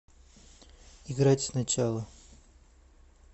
играть сначала